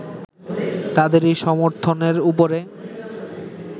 তাদেরই সমর্থনের ওপরে